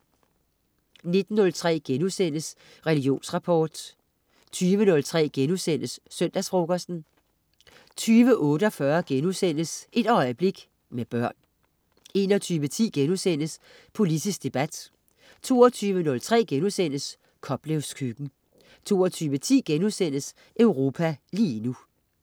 19.03 Religionsrapport* 20.03 Søndagsfrokosten* 20.48 Et øjeblik, med børn* 21.10 Politisk debat* 22.03 Koplevs Køkken* 22.10 Europa lige nu*